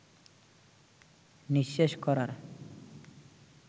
নিঃশেষ করার